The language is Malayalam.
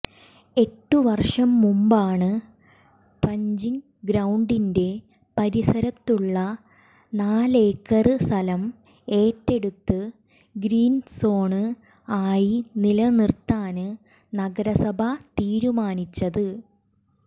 എട്ട് വര്ഷം മുമ്പാണ് ട്രഞ്ചിങ് ഗ്രൌണ്ടിന്റെ പരിസരത്തുള്ള നാലേക്കര് സ്ഥലം ഏറ്റെടുത്ത് ഗ്രീന്സോണ് ആയി നിലനിര്ത്താന് നഗരസഭ തീരുമാനിച്ചത്